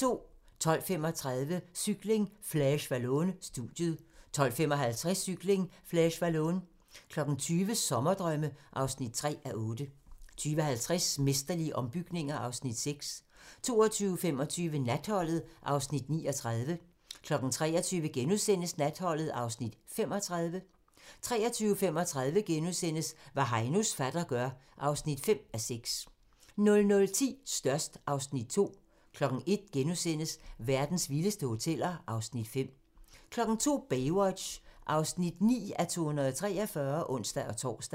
12:35: Cykling: Flèche Wallonne - studiet 12:55: Cykling: Flèche Wallonne 20:00: Sommerdrømme (3:8) 20:50: Mesterlige ombygninger (Afs. 6) 22:25: Natholdet (Afs. 39) 23:00: Natholdet (Afs. 35)* 23:35: Hvad Heinos fatter gør (5:6)* 00:10: Størst (Afs. 2) 01:00: Verdens vildeste hoteller (Afs. 5)* 02:00: Baywatch (9:243)(ons-tor)